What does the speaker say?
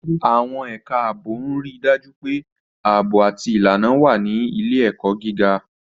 Àwọn ẹ̀ka ààbò ń rí i dájú pé ààbò àti ìlànà wà ní ilé-ẹ̀kọ́ gíga.